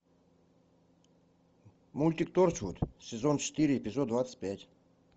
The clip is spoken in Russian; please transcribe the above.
мультик торчвуд сезон четыре эпизод двадцать пять